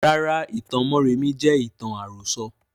Rárá, ìtàn mọ́remí jẹ ìtàn àrọ̀sọ̀